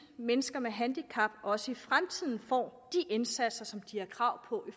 mennesker med handicap også i fremtiden får de indsatser som de har krav på